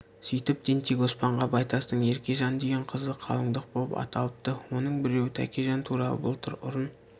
сүйтіп тентек оспанға байтастың еркежан деген қызы қалындық боп аталыпты оның біреуі тәкежан туралы былтыр ұрын